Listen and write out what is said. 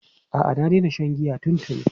A'a, na daina shan giya tuntuni.